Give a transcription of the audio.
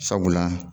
Sabula